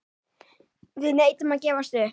Við neitum að gefast upp.